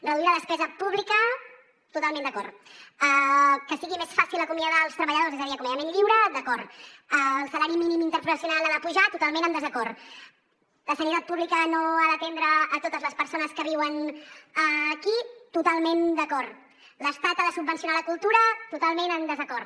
reduir la despesa pública totalment d’acord que sigui més fàcil acomiadar els treballadors és a dir acomiadament lliure d’acord el salari mínim interprofessional ha de pujar totalment en desacord la sanitat pública no ha d’atendre totes les persones que viuen aquí totalment d’acord l’estat ha de subvencionar la cultura totalment en desacord